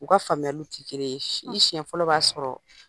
U ka faamuyaliw tɛ kelen ye, i siɲɛ fɔlɔ b'a sɔrɔ